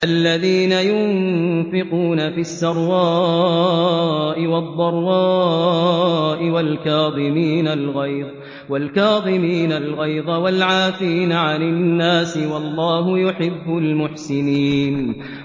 الَّذِينَ يُنفِقُونَ فِي السَّرَّاءِ وَالضَّرَّاءِ وَالْكَاظِمِينَ الْغَيْظَ وَالْعَافِينَ عَنِ النَّاسِ ۗ وَاللَّهُ يُحِبُّ الْمُحْسِنِينَ